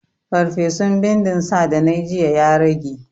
Farfesun bindin sa da nayi jiya ya rage?